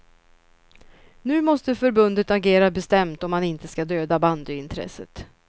Nu måste förbundet agera bestämt om man inte ska döda bandyintresset.